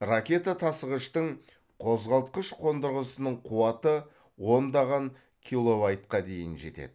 ракета тасығыштың қозғалтқыш қондырғысының қуаты ондаған дейін жетеді